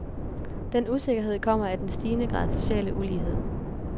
Den usikkerhed kommer af den stigende grad sociale ulighed.